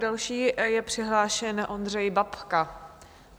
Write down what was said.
Další je přihlášen Ondřej Babka.